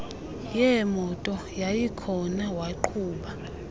yeemoto yayikhona waqhuba